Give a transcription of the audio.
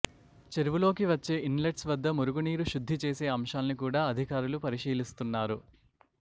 చెరువులోకి వచ్చే ఇన్లెట్స్ వద్ద మురుగు నీరు శుద్ధి చేసే అంశాల్ని కూడా అధికారులు పరిశీలిస్తున్నారు